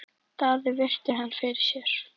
Daði virti hann fyrir sér.